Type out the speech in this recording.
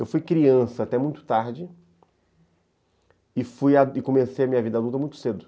Eu fui criança até muito tarde e comecei a minha vida adulta muito cedo.